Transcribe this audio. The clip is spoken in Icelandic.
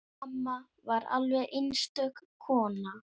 Amma var alveg einstök kona.